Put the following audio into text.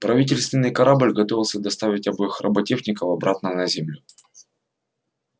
правительственный корабль готовился доставить обоих роботехников обратно на землю